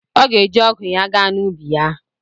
Ọ ga-eji ọgụ ya gaa n'ubi ya.